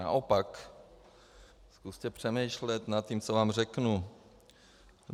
Naopak, zkuste přemýšlet nad tím, co vám řeknu.